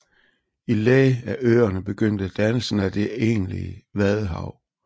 I læ af øerne begyndte dannelsen af det egentlige vadehav